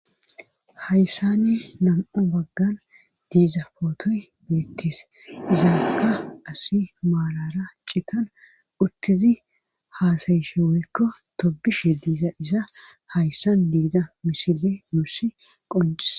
Hayssani nam7u baggan diiza pootoy beettes izaakka asi maalara citan uttizi haasayishe woykko tobishe diiza isa hayssan diida misile nuusi qoncises.